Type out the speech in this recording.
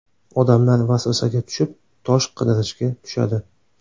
Odamlar vasvasaga tushib, ‘tosh’ qidirishga tushadi.